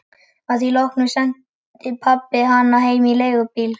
Að því loknu sendi pabbi hana heim í leigubíl.